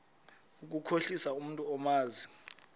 ukukhohlisa umntu omazi